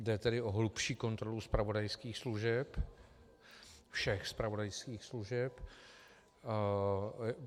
Jde tedy o hlubší kontrolu zpravodajských služeb, všech zpravodajských služeb.